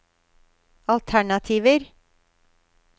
alternativer